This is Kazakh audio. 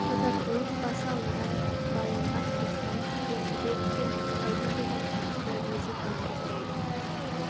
тазартылып басы алынған балынған кристалл тұзбен себеді де пайда болған тұздықты мезет алып тастайды